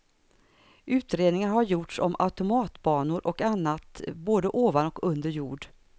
Utredningar har gjorts om automatbanor och annat både ovan och under jord.